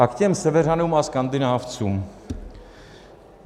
A k těm seveřanům a Skandinávcům.